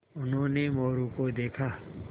उन्होंने मोरू को देखा